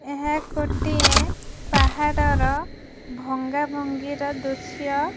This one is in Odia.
ଏହା ଗୋଟିଏ ପାହାଡ଼ର ଭଙ୍ଗାଭାଙ୍ଗିର ଦୃଶ୍ୟ।